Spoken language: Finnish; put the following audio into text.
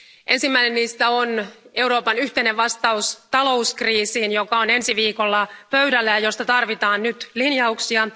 Ensimmäinen niistä on Euroopan yhteinen vastaus talouskriisiin, joka on ensi viikolla pöydällä ja josta tarvitaan nyt linjauksia.